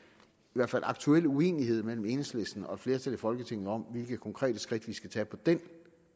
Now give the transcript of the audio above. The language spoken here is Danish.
hvert fald aktuel uenighed mellem enhedslisten og et flertal i folketinget om hvilke konkrete skridt vi skal tage på den